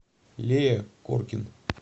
лея коркин